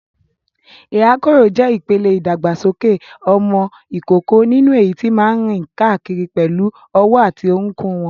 Ìrákòrò jẹ́ ìpele ìdàgbàsókè ọmọ ìkókó nínú èyí tí máa ń rìn káàkiri pẹ̀lú ọwọ́ àti orúnkún wọn.